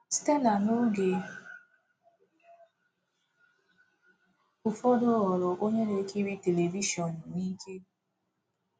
Stella n’oge ụfọdụ ghọrọ onye na-ekiri telivishọn n’ike.